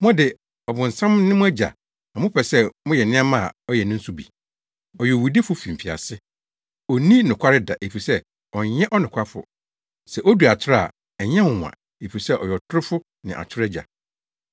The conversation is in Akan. Mo de, ɔbonsam ne mo agya na mopɛ sɛ moyɛ nneɛma a ɔyɛ no nso bi. Ɔyɛ owudifo fi mfiase. Onni nokware da efisɛ ɔnyɛ ɔnokwafo. Sɛ odi atoro a, ɛnyɛ nwonwa efisɛ ɔyɛ ɔtorofo ne atoro agya.